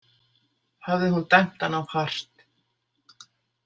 Hafði hún dæmt hann of hart?